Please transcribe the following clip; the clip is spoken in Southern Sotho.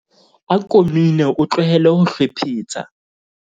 ako mine o tlohele ho hlwephetsa